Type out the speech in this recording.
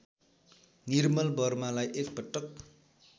निर्मल वर्मालाई एकपटक